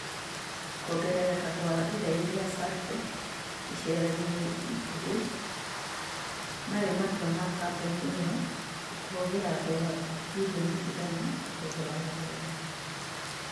kuongerereka gwa igai ria saartec icera-inĩ ikuhĩ marĩ matua ma kambuni ĩyo kũhũthira dora birironi igana kũgũra magai